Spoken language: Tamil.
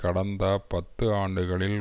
கடந்த பத்து ஆண்டுகளில்